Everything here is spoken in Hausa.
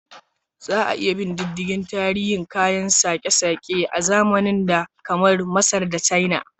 Za a iya bin diddigin tarihin kayan sake-sake a zamanin da, kamar Masar da China.